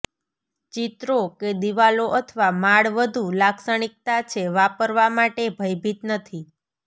ચિત્રો કે દિવાલો અથવા માળ વધુ લાક્ષણિકતા છે વાપરવા માટે ભયભીત નથી